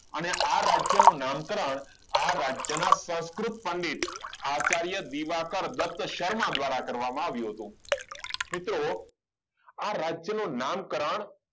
અને આ રાજ્યનું નામકરણ આ રાજ્યના સંસ્કૃત પંડિત આચાર્ય દીવાકર દત્ત શર્મા દ્વારા કરવામાં આવ્યું હતું મિત્રો આ રાજ્યનું નામ કરણ